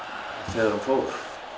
þegar hún fór